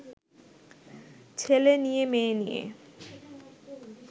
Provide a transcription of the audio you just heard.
ছেলে নিয়ে মেয়ে নিয়ে